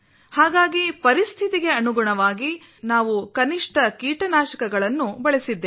ಹಾಗಾಗಿ ಪರಿಸ್ಥಿತಿಗೆ ಅನುಗುಣವಾಗಿ ನಾವು ಕನಿಷ್ಟ ಕೀಟನಾಶಕಗಳನ್ನು ಬಳಸಿದ್ದೇವೆ